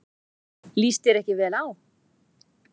Líst þér ekki vel á.